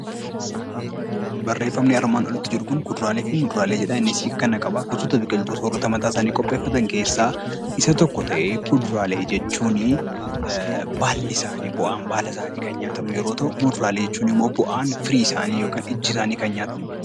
Barreeffamni armaan olitti argamu kun kuduraalee fi muduraalee jedha. Innis gosoota biqiltootaa keessaa kanneen nyaata mataa isaanii qopheeffatan keessaa isa tokko ta'ee, kuduraa jechuun bu'aan baala isaanii kan nyaatamu yammuu ta'u; muduraalee jechuun immoo bu'aan firii isaanii kan nyaatamu jechuudha.